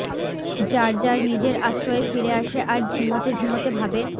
যার যার নিজের আশ্রয়ে ফিরে আসে আর ঝিমোতে ঝিমোতে ভাবে